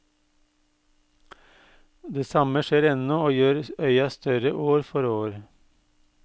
Det samme skjer ennå og gjør øya større år for år.